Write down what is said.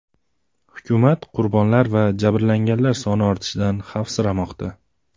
Hukumat qurbonlar va jabrlanganlar soni ortishidan xavfsiramoqda.